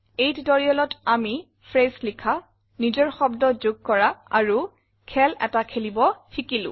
এই tutorialত আমি ফ্ৰেছ লিখা নিজৰ শব্দ যোগ কৰা আৰু খেল এটা খেলিব শিকিলো